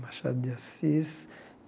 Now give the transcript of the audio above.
Machado de Assis.